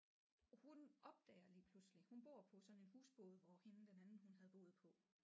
Hun opdager lige pludselig hun bor på sådan en husbåd hvor hende den anden hun havde boet på